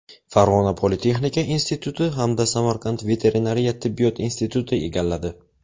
Farg‘ona politexnika instituti hamda Samarqand veterinariya tibbiyot instituti egalladi.